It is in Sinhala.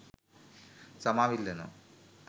සමාව ඉල්ලනව.